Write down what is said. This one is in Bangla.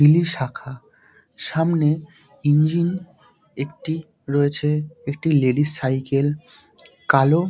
ইলি শাখা সামনে ইঞ্জিন একটি রয়েছে একটি লেডিস সাইকেল কালো--